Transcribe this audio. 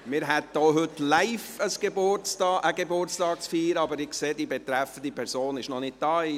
Wir hätten heute auch live einen Geburtstag zu feiern, aber ich sehe, dass die betreffende Person noch nicht hier ist.